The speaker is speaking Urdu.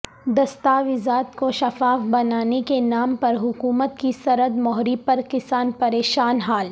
دستاویزات کو شفاف بنانے کے نام پر حکومت کی سرد مہری پر کسان پریشان حال